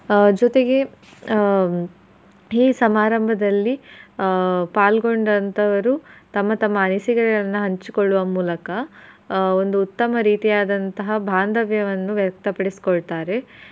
ಆಹ್ ಜೊತೆಗೆ ಆಹ್ ಈ ಸಮಾರಂಭದಲ್ಲಿ ಆಹ್ ಪಾಲ್ಗೊಂಡಂತವರು ತಮ್ಮ ತಮ್ಮ ಅನಿಸಿಕೆಗಳನ್ನ ಹಂಚಿಕೊಳ್ಳುವ ಮೂಲಕ ಆಹ್ ಒಂದು ಉತ್ತಮ ರೀತಿಯಾದಂತಹ ಬಾಂಧವ್ಯವನ್ನು ವ್ಯಕ್ತಪಡ್ಸಿಕೊಳ್ತಾರೆ.